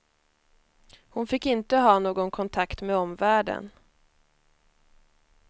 Hon fick inte ha någon kontakt med omvärlden.